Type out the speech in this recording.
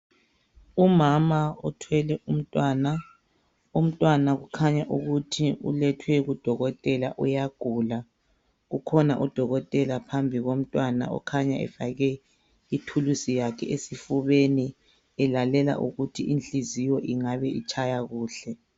Umama uthwele umntwana umntwana ukhanya ukuthi ulethwe kudokotela uyagula ukhona udokotela phambi komntwana okhanya efake ithulusi yakhe esifubeni elalela ukuthi inhliziyo ingabe itshaya kuhle.